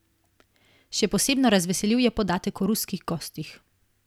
Še posebno razveseljiv je podatek o ruskih gostih.